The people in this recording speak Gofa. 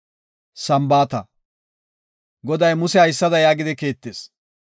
Goday Muse haysada yaagidi kiittis;